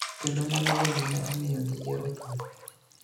kendo mano bende ne omiyo giyiero thum,